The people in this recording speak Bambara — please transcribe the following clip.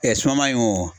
suman in o